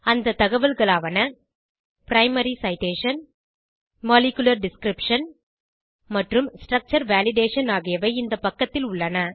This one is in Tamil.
அந்த தகவல்களாவன பிரைமரி சிடேஷன் மாலிகுலர் டிஸ்கிரிப்ஷன் மற்றும் ஸ்ட்ரக்சர் வேலிடேஷன் ஆகியவை இந்த பக்கத்தில் உள்ளன